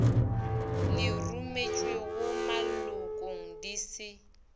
le rometšwego malokong di se